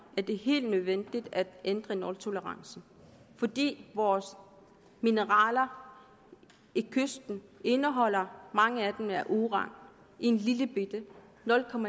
er det helt nødvendigt at ændre nultolerancen fordi mange vores mineraler ved kysten indeholder uran i en lillebitte